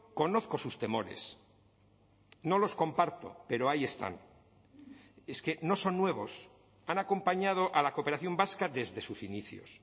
conozco sus temores no los comparto pero ahí están es que no son nuevos han acompañado a la cooperación vasca desde sus inicios